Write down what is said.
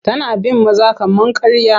Tana bin maza kamar karya.